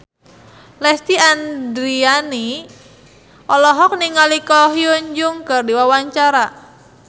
Lesti Andryani olohok ningali Ko Hyun Jung keur diwawancara